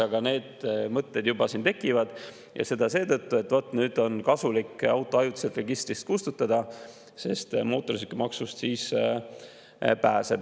Aga need mõtted juba siin tekivad, ja seda seetõttu, et nüüd on kasulik auto ajutiselt registrist kustutada, sest siis pääseb mootorsõidukimaksust.